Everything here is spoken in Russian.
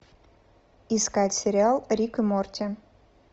искать сериал рик и морти